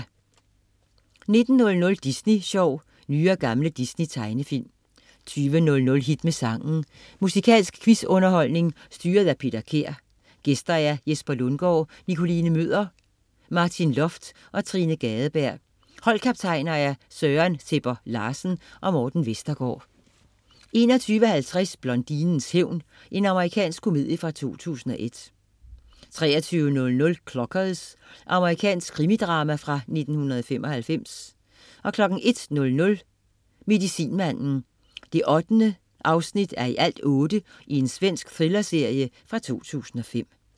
19.00 Disney Sjov. Nye og gamle Disney tegnefilm 20.00 Hit med sangen. Musikalsk quiz-underholdning styret af Peter Kær. Gæster: Jesper Lundgaard, Nikoline Møller, Martin Loft og Trine Gadeberg. Holdkaptajner: Søren Sebber Larsen og Morten Vestergaard 21.30 Blondinens hævn. Amerikansk komedie fra 2001 23.00 Clockers. Amerikansk krimidrama fra 1995 01.00 Medicinmanden 8:8. Svensk thrillerserie fra 2005